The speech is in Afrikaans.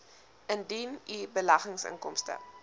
indien u beleggingsinkomste